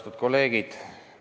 Austatud kolleegid!